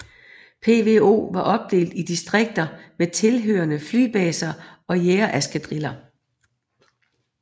PVO var opdelt i distrikter med tilhørende flybaser og jagereskadriller